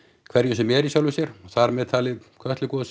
hverju sem er í sjálfu sér þar með talið Kötlugosi